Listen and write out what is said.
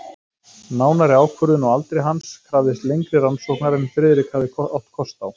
Nánari ákvörðun á aldri hans krafðist lengri rannsóknar en Friðrik hafði átt kost á.